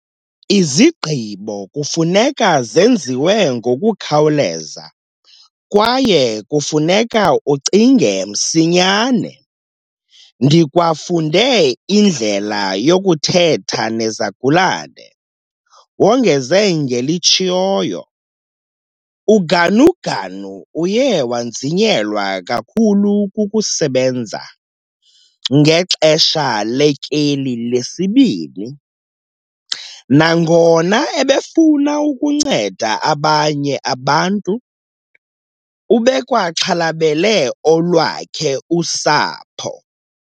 "Izigqibo kufuneka zenziwe ngokukhawuleza kwaye kufuneka ucinge msinyane. Ndikwafunde indlela yokuthetha nezigulana," wongeze ngelitshoyo. UGanuganu uye wanzinyelwa kakhulu kukusebenza ngexesha letyeli lesibini. Nangona ebefuna ukunceda abanye abantu, ubekwaxhalabele olwakhe usapho.